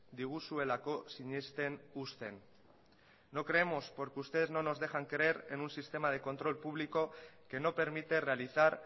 diguzuelako sinesten uzten no creemos porque ustedes no nos dejan creer en un sistema de control público que no permite realizar